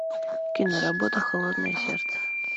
киноработа холодное сердце